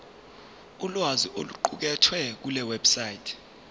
ulwazi oluqukethwe kulewebsite